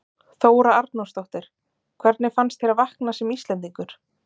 Þóra Arnórsdóttir: Hvernig fannst þér að vakna sem Íslendingur?